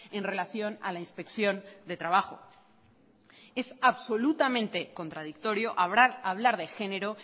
en relación a la inspección de trabajo es absolutamente contradictorio hablar de género